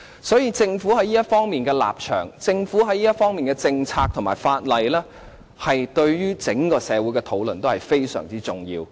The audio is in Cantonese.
所以，政府在這方面的立場、政策和法例，對於整個社會的討論都是非常重要。